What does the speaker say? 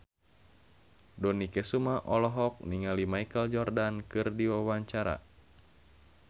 Dony Kesuma olohok ningali Michael Jordan keur diwawancara